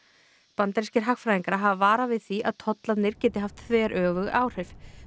bandarískir hagfræðingar hafa varað við því að tollarnir geti haft þveröfug áhrif